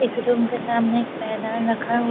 इस रूम के सामने पायदान रखा --